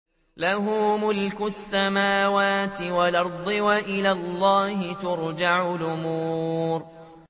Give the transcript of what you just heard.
لَّهُ مُلْكُ السَّمَاوَاتِ وَالْأَرْضِ ۚ وَإِلَى اللَّهِ تُرْجَعُ الْأُمُورُ